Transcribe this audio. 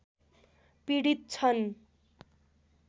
पीडित छन्